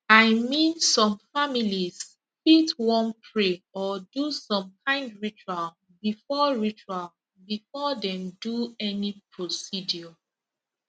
i mean some families fit wan pray or do some kind ritual before ritual before dem do any procedure